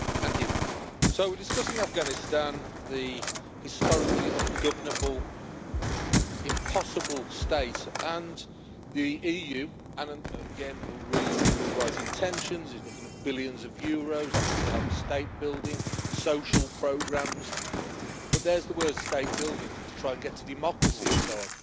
Mr President, so we're discussing Afghanistan, the historically ungovernable, impossible State, and the EU and again, really, really, with the right intentions we're looking at billions of euros, offers to help with state building, social programmes, but there's the word state building' to try and get to democracy and so on.